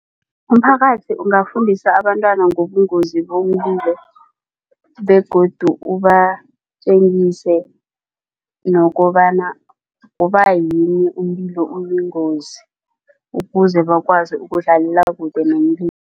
Umphakathi ungafundisa abantwana ngobungozi bomlilo begodu ubatjengise nokobana kubayini umlilo uyingozi ukuze bakwazi ukudlalela kude